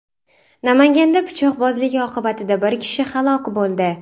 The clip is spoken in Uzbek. Namanganda pichoqbozlik oqibatida bir kishi halok bo‘ldi .